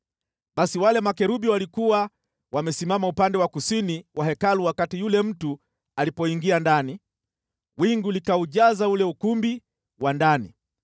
Basi wale makerubi walikuwa wamesimama upande wa kusini wa Hekalu wakati yule mtu alipoingia ndani, wingu likaujaza ule ukumbi wa ndani.